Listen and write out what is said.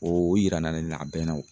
O yira na ne na a bɛnna o.